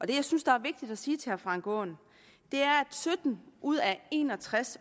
det jeg synes der er vigtigt at sige til herre frank aaen er at sytten ud af en og tres